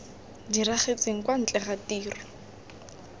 diragetseng kwa ntle ga tiro